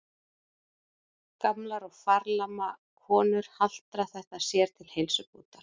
Gamlar og farlama konur haltra þetta sér til heilsubótar.